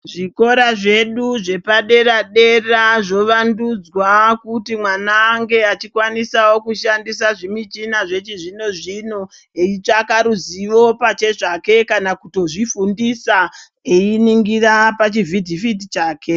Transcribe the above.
Zvikora zvedu zvepadera dera zvovandudzwa kuti mwana ange achikwanisawo kushandisa zvimishina zvechizvino zvino eitsvaka ruzivo pachezvake kana kutozvifundisa einingira pachivhitivhiti chake.